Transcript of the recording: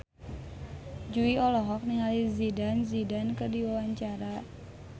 Jui olohok ningali Zidane Zidane keur diwawancara